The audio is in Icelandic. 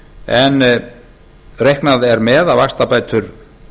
en reiknað er með að vaxtabætur